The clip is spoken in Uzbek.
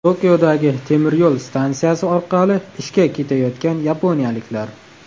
Tokiodagi temiryo‘l stansiyasi orqali ishga ketayotgan yaponiyaliklar.